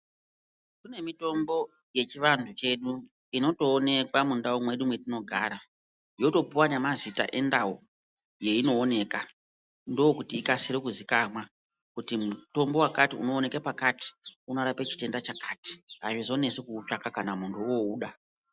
Kune mitombo yechivanthu chedu inotoonekwa mundau mwedu mwetinogara yotopuwa nemazita endau yeinooneka ndookuiti ikasire kuziikamwa kuti mutombo wakati unowanikwa pakati unorape chitenda chakati auzonesi kuutsvaka kana munthu wouda.